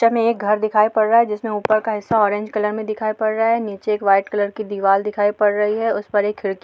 picture में एक घर दिखाई पड़ रहा है जिसमे ऊपर का हिस्सा ऑरेंज कलर में दिखाई पड़ रहा है नीचे एक व्हाइट कलर की दीवाल दिखाई पड़ रही है उस पर एक खिड़की --